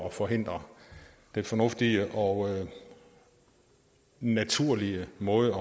at forhindre den fornuftige og naturlige måde